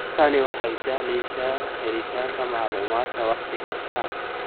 Tani waxay sahlaysa helitaanka macluumaadka wakhti kasta.